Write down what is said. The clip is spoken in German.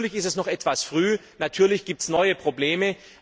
Natürlich ist es noch etwas früh, und natürlich gibt es neue Probleme.